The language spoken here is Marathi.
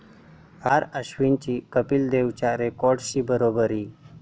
आर.अश्विनची कपिल देवच्या रेकॉर्डशी बरोबरी